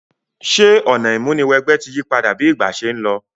Sè ọ̀nà ìmúniwẹgbẹ́ ti yípadà bi ìgbà se n lo?